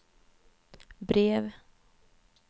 brev